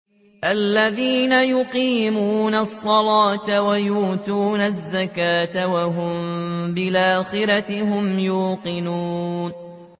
الَّذِينَ يُقِيمُونَ الصَّلَاةَ وَيُؤْتُونَ الزَّكَاةَ وَهُم بِالْآخِرَةِ هُمْ يُوقِنُونَ